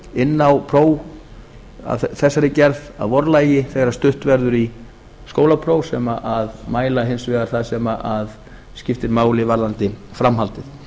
inn á próf af þessari gerð að vorlagi þegar stutt verður í skólapróf sem mæla hins vegar það sem skiptir máli varðandi framhaldið